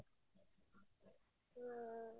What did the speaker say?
ହୁଁ